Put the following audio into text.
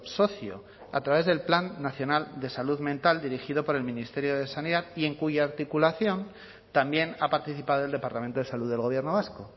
socio a través del plan nacional de salud mental dirigido por el ministerio de sanidad y en cuya articulación también ha participado el departamento de salud del gobierno vasco